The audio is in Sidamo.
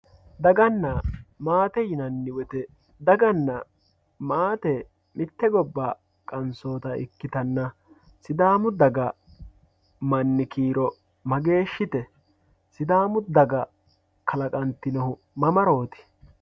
Dagana maate yinani woyite dagana maate mite goba qansoota ikitana sidaamu daga mani kiiro mageeshite sidaamu daga kalaqantinohu mamarooti?